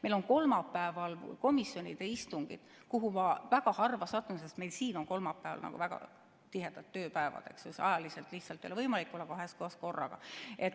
Meil on kolmapäeval komisjonide istungid, kuhu ma väga harva satun, sest meil on ka siin kolmapäev väga tihe tööpäev ja ajaliselt lihtsalt ei ole võimalik olla kahes kohas korraga.